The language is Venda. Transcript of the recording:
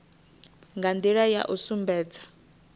nga ndila ya u sumbedza